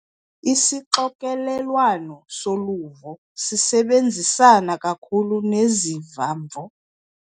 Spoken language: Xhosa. Isixokelelwano soluvo sisebenzisana kakhulu neziva-mvo.